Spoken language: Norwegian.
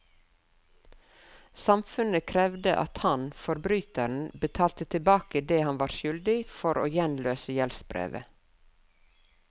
Samfunnet krevde at han, forbryteren, betalte tilbake det han var skyldig for å gjenløse gjeldsbrevet.